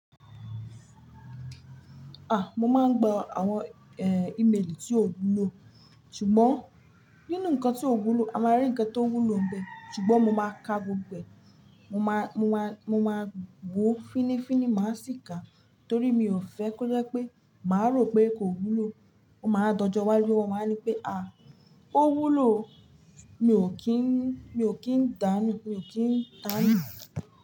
Mo máa ń gba àwọn ímelì tí ó wúlò. Ṣùgbọ́n nínú nǹkan tí ó wúlò, a máa rí nǹkan tó wúlò nbẹ. Ṣùgbọ́n mo máa ka gbogbo ẹ̀, mo máa, mo máa, mo máa wò fínnífínní, má sì ká torí mi ò fẹ́ kó jẹ pé màá rò pé kò wúlò. Wọn máa dojú wáju wọ́n máa ní pé "à ó wúlò". Mi ò kí ń, mi ò kí ń dánú, mi ò kí ń tánú.